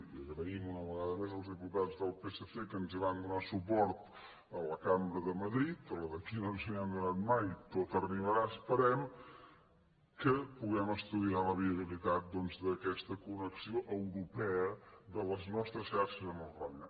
i agraïm una vegada més als diputats del psc que ens hi donessin suport a la cambra de madrid a la d’aquí no ens n’han donat mai tot arribarà esperem que puguem estudiar la viabilitat doncs d’aquesta connexió europea de les nostres xarxes amb el roine